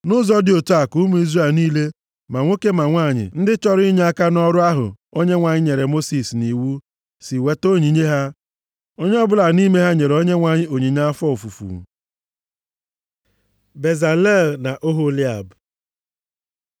Nʼụzọ dị otu a ka ụmụ Izrel niile, ma nwoke ma nwanyị, ndị chọrọ inyeaka nʼọrụ ahụ Onyenwe anyị nyere Mosis nʼiwu si weta onyinye ha. Onye ọbụla nʼime ha nyere Onyenwe anyị onyinye afọ ofufu. Bezalel na Oholiab